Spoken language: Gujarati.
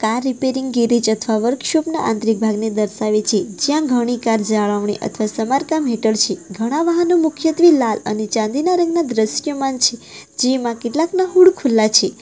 આ રીપેરીંગ ગેરેજ |અથવા વર્કશોપ ના આંતરિક ભાગને દર્શાવે છે જ્યાં ઘણી કાર જાળવણી અથવા સમારકામ હેઠળ છે ઘણા વાહનો મુખ્યત્વે લાલ અને ચાંદીના રંગના દ્રશ્યમાન છે જેમાં કેટલાકના હુડ ખુલ્લા છે.